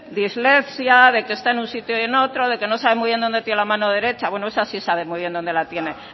de dislexia de que está en un sitio y en otro de que no sabe muy bien donde tiene la mano derecha bueno esa sí sabe muy bien donde la tiene